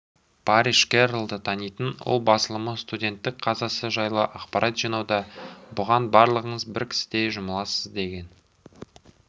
парриш керролды танитын ол басылымы студенттің қазасы жайлы ақпарат жинауда бұған барлығыңыз бір кісідей жұмыласыз деген